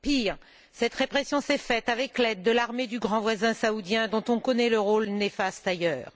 Pire, cette répression s'est faite avec l'aide de l'armée du grand voisin saoudien, dont on connaît le rôle néfaste, ailleurs.